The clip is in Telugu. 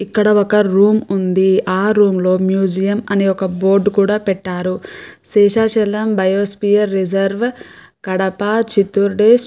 ఇక్కడ ఒక రూమ్ ఉంది ఆ రూమ్ లో మ్యూజియం అని ఒక బోర్డు కూడా పెట్టారు శేషాచలం బయోస్ఫియర్ రిజర్వ్ కడప చిత్తూర్ డిస్టి --